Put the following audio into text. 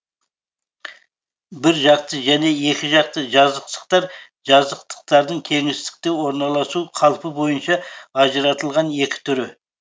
бір жақты және екі жақты жазықтықтар жазықтықтардың кеңістікке орналасу қалпы бойынша ажыратылған екі түрі